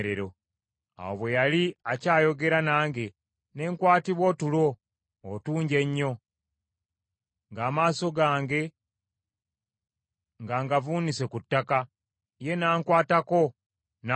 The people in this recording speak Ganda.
Awo bwe yali akyayogera nange, ne nkwatibwa otulo otungi ennyo, ng’amaaso gange nga ngavuunise ku ttaka, ye n’ankwatako n’angolokosa.